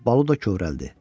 Balu da kövrəldi.